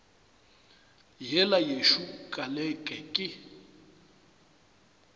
yela yešo ka leke ke